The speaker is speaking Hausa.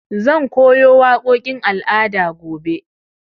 Zan koyo waƙoƙin al'ada gobe.